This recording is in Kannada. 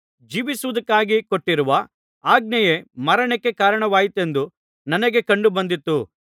ಜೀವಿಸುವುದಕ್ಕಾಗಿ ಕೊಟ್ಟಿರುವ ಆಜ್ಞೆಯೇ ಮರಣಕ್ಕೆ ಕಾರಣವಾಯಿತೆಂದು ನನಗೆ ಕಂಡು ಬಂದಿತು